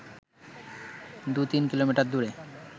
দু-তিন কিলোমিটার দূরে